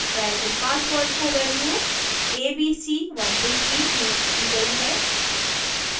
variable password को value abc123 नियुक्त की गयी है